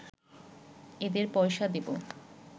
এদের পয়সা দেব